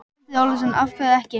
Andri Ólafsson: Af hverju ekki?